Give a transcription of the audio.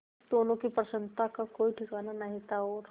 दोनों की प्रसन्नता का कोई ठिकाना नहीं था और